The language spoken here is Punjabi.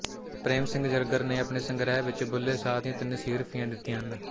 ਪ੍ਰੇਮ ਸਿੰਘ ਜ਼ਰਗਰ ਨੇ ਆਪਣੇ ਸੰਗ੍ਰਹਿ ਵਿੱਚ ਬੁਲ੍ਹੇ ਸ਼ਾਹ ਦੀਆਂ ਤਿੰਨ ਸੀਹਰਫ਼ੀਆਂ ਦਿੱਤੀਆਂ ਹਨ